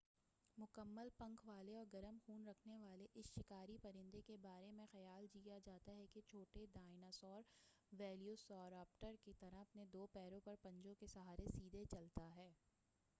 مکمل پنکھ والے اور گرم خون رکھنے والے اس شکاری پرندہ کے بارے میں خیال کیا جاتا ہے کہ یہ چھوٹے ڈائنا سور ویلوسیراپٹر کے طرح اپنے دو پیروں پر پنجوں کے سہارے سیدھے چلتا ہے